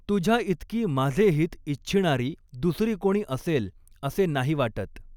तुझ्या इतकी माझे हित इच्छिणारी दुसरी कोणी असेल असे नाही वाटत.